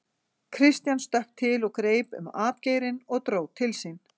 Christian stökk til og greip um atgeirinn og dró til sín.